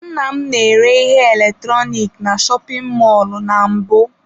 Nna m na-ere ihe eletrọnịkị na shopin mọlụ na mbụ.